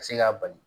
Ka se k'a bali